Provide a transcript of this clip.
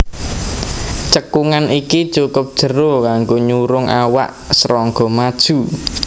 Cekungan iki cukup jero kanggo nyurung awak srangga maju